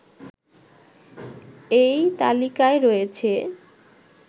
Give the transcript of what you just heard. এই তালিকায় রয়েছে